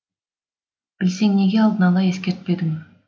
білсең неге алдын ала ескертпедің